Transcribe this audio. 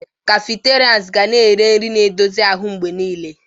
Cafeterias ga na-ere nri na-edozi ahụ mgbe niile.